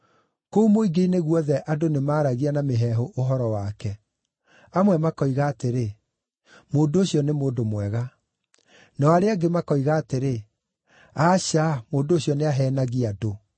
Kũu mũingĩ-inĩ guothe andũ nĩmaragia na mĩheehũ ũhoro wake. Amwe makoiga atĩrĩ, “Mũndũ ũcio nĩ mũndũ mwega.” Nao arĩa angĩ makoiga atĩrĩ, “Aca, mũndũ ũcio nĩaheenagia andũ.”